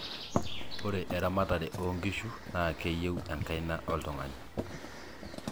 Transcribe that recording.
ore eamatare oo nkishu naa keyieu enkaina oltung'ani